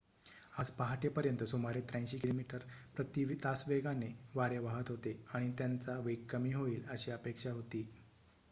आज पहाटेपर्यंत सुमारे ८३ किमी प्रति तास वेगाने वारे वाहत होते आणि त्यांचा वेग कमी होईल अशी अपेक्षा होती